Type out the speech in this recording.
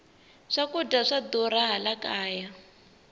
swakudya swa durha laha kaya